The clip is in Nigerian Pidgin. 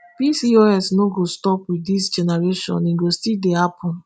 pcos no go stop wit dis generation e go still dey happun